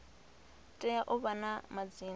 tea u vha na madzina